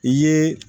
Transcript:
I ye